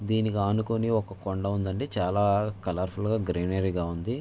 దీనికి ఆనుకొని ఒక కొండా ఉందండి చాలా కలర్ ఫుల్ గా గ్రీనరీ గా ఉంది.